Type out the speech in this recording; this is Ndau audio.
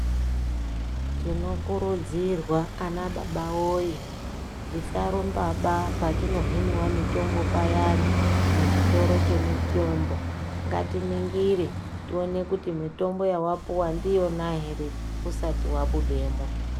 Tino kurudzirwa ana baba woye tisa rumba baa patino hiniwa mutombo payani mu chitoro che mitombo ngati ningire tione kuti mitombo yawa puwa ndiyona ere usati wabudemo.